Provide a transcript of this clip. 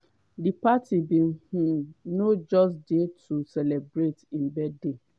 di party bin um no just dey to celebrate im birthday